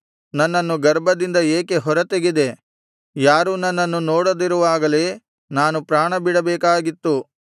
ನನ್ನನ್ನು ಗರ್ಭದಿಂದ ಏಕೆ ಹೊರತೆಗೆದೆ ಯಾರೂ ನನ್ನನ್ನು ನೋಡದಿರುವಾಗಲೇ ನಾನು ಪ್ರಾಣಬಿಡಬೇಕಾಗಿತ್ತು